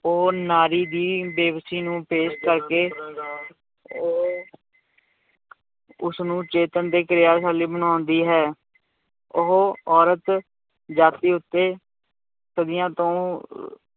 ਉਹ ਨਾਰੀ ਦੀ ਬੇਬਸੀ ਨੂੰ ਪੇਸ਼ ਕਰਕੇ ਉਹ ਉਸਨੂੰ ਚੇਤੰਨ ਤੇ ਕਿਰਿਆਸ਼ਾਲੀ ਬਣਾਉਂਦੀ ਹੈ, ਉਹ ਔਰਤ ਜਾਤੀ ਉੱਤੇ ਸਦੀਆਂ ਤੋਂ